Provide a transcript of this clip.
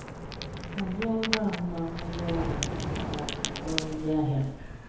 Hàzie ọrụ ahụ́màhụ onye ọrụ na/ma ọ bụ ọrụ ndị ahịa.